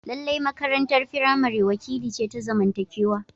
Lallai makarantar firamare wakili ce ta zamantakewa.